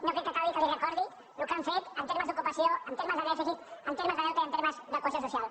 no crec que calgui que li recordi el que han fet en termes d’ocupació en termes de dèficit en termes de deute i en termes de cohesió social